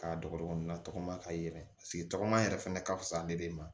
K'a dɔgɔkun na tɔgɔma ka yɛlɛ paseke tɔgɔma yɛrɛ fɛnɛ ka fisa ni de ma